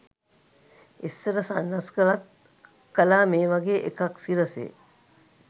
ඉස්සර සන්නස්ගලත් කලා මේ වගේ එකක් සිරසේ